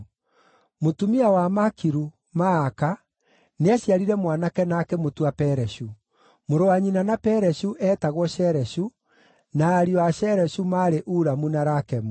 Mũtumia wa Makiru, Maaka nĩaciarire mwanake na akĩmũtua Pereshu. Mũrũ wa nyina na Pereshu eetagwo Shereshu, na ariũ a Shereshu maarĩ Ulamu na Rakemu.